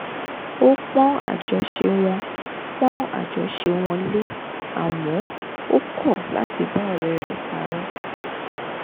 ó pọ́n àjọṣe wọn pọ́n àjọṣe wọn lé àmọ́ ó kọ̀ láti bá ọ̀rẹ́ rẹ̀ parọ́